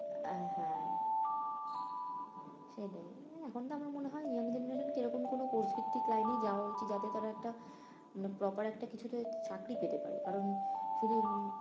আহ হ্যাঁ সেটাই এখন তো আমার মনে হয় young genaretion কে এরমকম কোনো course ভিত্তিক লাইনেই যাওয়া উচিত যাতে তারা একটা মানে proper একটা কিছুতে চাকরি পেতে পারে কারণ শুধু